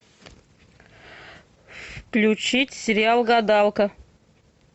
включить сериал гадалка